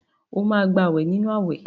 Óò gbàwè nínú àwẹ̀!